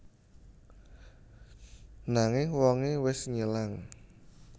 Nanging wongé wis ngilang